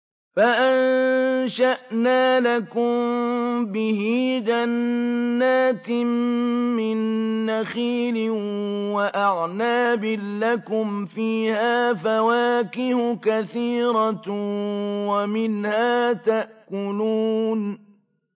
فَأَنشَأْنَا لَكُم بِهِ جَنَّاتٍ مِّن نَّخِيلٍ وَأَعْنَابٍ لَّكُمْ فِيهَا فَوَاكِهُ كَثِيرَةٌ وَمِنْهَا تَأْكُلُونَ